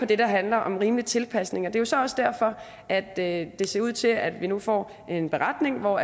det der handler om en rimelig tilpasning og det er jo så også derfor at at det ser ud til at vi nu får en beretning hvor